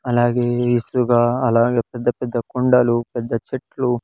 అలాగే ఇసుగ అలాగే పెద్ద పెద్ద కుండలు పెద్ద చెట్లు --